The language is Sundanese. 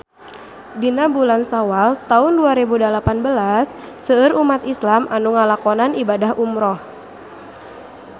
Dina bulan Sawal taun dua rebu dalapan belas seueur umat islam nu ngalakonan ibadah umrah